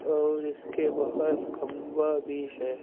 और इसके बाहर खंबा भी है।